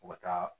U bɛ taa